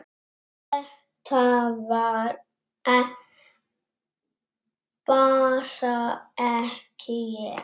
Þetta var bara ekki ég.